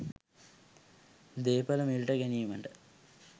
දේපළ මිලට ගැනීමට